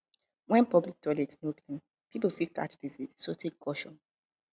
when public toilet no clean pipo fit catch disease so take caution